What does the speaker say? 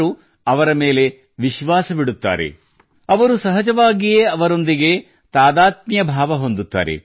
ಅವರು ಸಹಜವಾಗಿಯೇ ಅವರೊಂದಿಗೆ ಸಂಪರ್ಕದ ಅನಿಸಿಕೆ ಹೊಂದುತ್ತಾರೆ